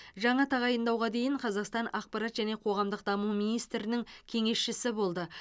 жаңа тағайындауға дейін қазақстан ақпарат және қоғамдық даму министрінің кеңесшісі болды